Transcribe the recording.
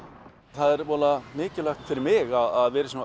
það er voða mikilvægt fyrir mig að vera í svona